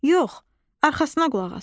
Yox, arxasına qulaq as.